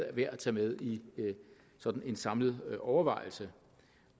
er værd at tage med i sådan en samlet overvejelse